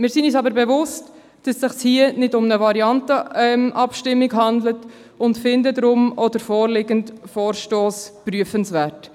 Wir sind uns aber bewusst, dass es sich hier nicht um eine Variantenabstimmung handelt und finden deshalb den vorliegenden Vorstoss auch prüfenswert.